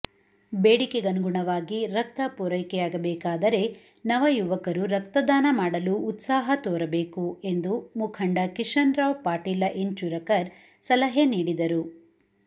ಬೇಡಿಕೆಗನುಗುಣವಾಗಿ ರಕ್ತ ಪೂರೈಕೆಯಾಗಬೇಕಾದರೆ ನವಯುವಕರು ರಕ್ತದಾನ ಮಾಡಲು ಉತ್ಸಾಹ ತೋರಬೇಕು ಎಂದು ಮುಖಂಡ ಕಿಶನರಾವ್ ಪಾಟೀಲ ಇಂಚೂರಕರ್ ಸಲಹೆ ನೀಡಿದರು